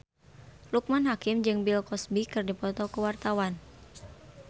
Loekman Hakim jeung Bill Cosby keur dipoto ku wartawan